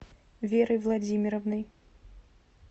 верой владимировной